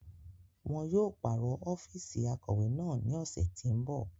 Wọn yóò paro ọfiisi akọwe naa ni ọsẹ ti n bọ.